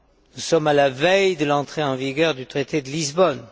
Nous sommes à la veille de l'entrée en vigueur du traité de Lisbonne.